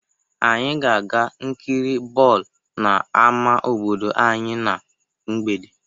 Anyị ga-aga nkiri bọọlụ n'ámá obodo anyị na mgbede.